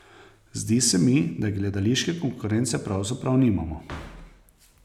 Zdi se mi, da gledališke konkurence pravzaprav nimamo.